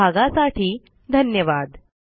सहभागासाठी धन्यवाद